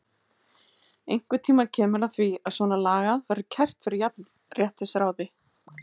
Einhvern tímann kemur að því að svona lagað verður kært fyrir jafnréttisráði.